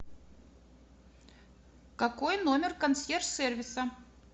какой номер консьерж сервиса